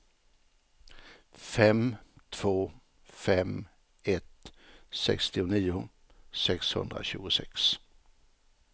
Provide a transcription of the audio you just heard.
fem två fem ett sextionio sexhundratjugosex